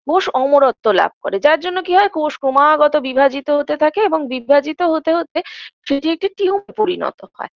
কোষ অমরত্ব লাভ করে যার জন্য কি হয় কোষ ক্রমাগত বিভাজিত হতে থাকে এবং বিভাজিত হতে হতে এটি একটি পরিনত হয়